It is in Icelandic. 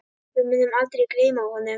Við munum aldrei gleyma honum.